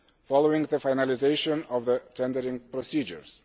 following the finalisation of the tendering procedures.